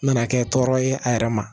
Nana kɛ tɔɔrɔ ye a yɛrɛ ma